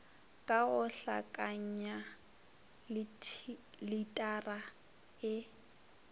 ka go hlakanya litara e